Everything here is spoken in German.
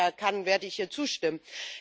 Von daher kann und werde ich ihr zustimmen.